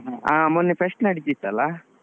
ಹ ಮೊನ್ನೆ fest ನಡೀತಿತ್ತಲ್ಲಾ?